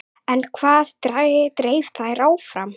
En hvað dreif þær áfram?